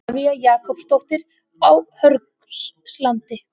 Ólafía Jakobsdóttir á Hörgslandi